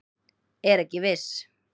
Er ekki viss